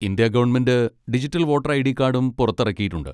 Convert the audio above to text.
India government digital voter ID കാഡും പുറത്തിറക്കിയിട്ടുണ്ട്.